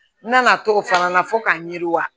N nana to fana na fo k'a ɲɛ wa